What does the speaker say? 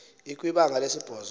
ikwi banga lesibhozo